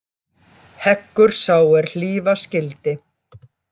Heggur sá er hlífa skyldi.